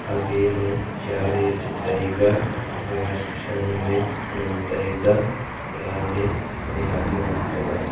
aage ma chair eh che taiga grass sanu eh ngan taiga plant ne corner ma ngan taga.